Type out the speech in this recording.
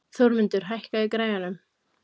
Þormundur, hækkaðu í græjunum.